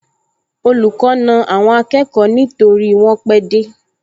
Olùkọ́ na àwọn akẹ́kọ̀ọ nítorí wọ́n pẹ́ dé